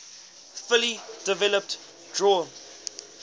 fully developed drawn